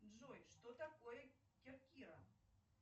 джой что такое керкира